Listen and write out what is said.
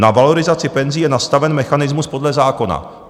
Na valorizaci penzí je nastaven mechanismus podle zákona."